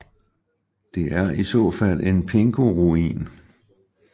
Det er i så fald en pingoruin